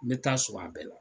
N bɛ taa sɔrɔ a bɛɛ la.